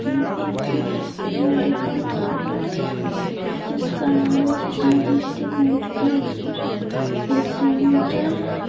ये एक medical hall है जिसका नाम है आदित्य मेडिकल --